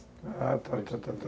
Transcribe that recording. Ah, tá, tá, tá,